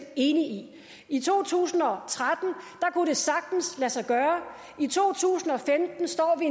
enige i i to tusind og tretten kunne det sagtens lade sig gøre i to tusind og femten står vi